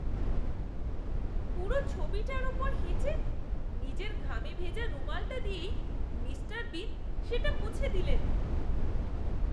পুরো ছবিটার ওপর হেঁচে নিজের ঘামে ভেজা রুমালটা দিয়েই মিস্টার বিন সেটা মুছে দিলেন।